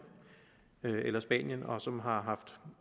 eller spanien og som har haft